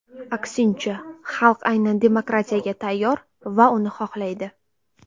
Aksincha, xalq aynan demokratiyaga tayyor va uni xohlaydi.